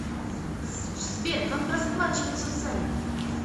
сбер как расплачиваться в замбии